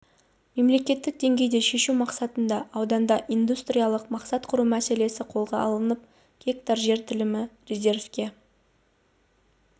мемлекеттік деңгейде шешу мақсатында ауданда индустриялық аймақ құру мәселесі қолға алынып гектар жер телімі резервке